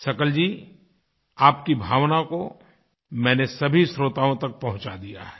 शकल जी आपकी भावनाओं को मैंने सभी श्रोताओं तक पहुँचा दिया है